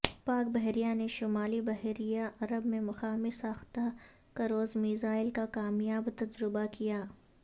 پاک بحریہ نے شمالی بحیرہ عرب میں مقامی ساختہ کروز میزائل کا کامیاب تجربہ کیا